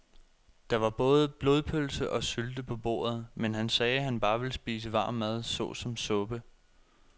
Der var både blodpølse og sylte på bordet, men han sagde, at han bare ville spise varm mad såsom suppe.